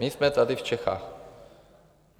My jsme tady v Čechách.